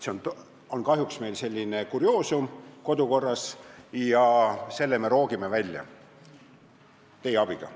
See on kahjuks meie kodukorras selline kurioosum ja selle me roogime teie abiga välja.